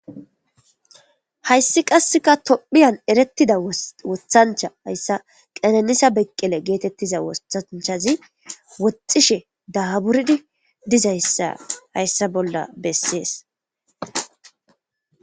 Hayssi qasseka tophiyan erettida wothancha hayssa qenanisa beqqele geetettiza woanchazi woxxishe daaburdi dizaya hayssa bolla bessees